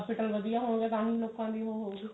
ਵਧੀਆਂ ਹੋਣਗੇ ਤਾਹੀਂ ਲੋਕਾ ਦੀ ਉਹ ਹੋਊਗੀ